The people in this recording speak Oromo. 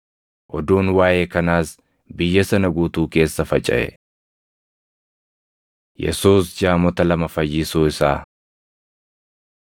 Oduun waaʼee kanaas biyya sana guutuu keessa facaʼe. Yesuus Jaamota Lama Fayyisuu Isaa